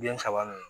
Den saba nu